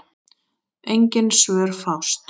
Engin svör fást.